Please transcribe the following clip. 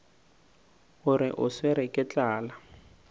gore o swerwe ke tlala